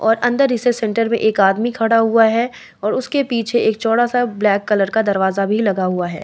और अंदर research centre में एक आदमी खड़ा हुआ है और उसके पीछे एक चौड़ा-सा ब्लैक कलर का दरवाजा भी लगा हुआ है।